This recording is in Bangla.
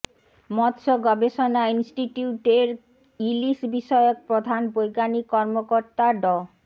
মৎস্য গবেষণা ইনস্টিটিউটের ইলিশ বিষয়ক প্রধান বৈজ্ঞানিক কর্মকর্তা ড